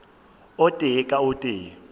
o tee ka o tee